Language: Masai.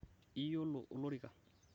iyiolo olorika